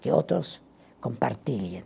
Que outros compartilhem.